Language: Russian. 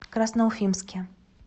красноуфимске